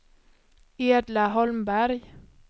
Edla Holmberg